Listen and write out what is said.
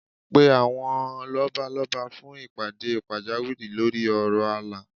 Pe àwọn lọ́balọ́ba fún ìpàdé pàjáwìrì lórí ọ̀rọ̀ ààlà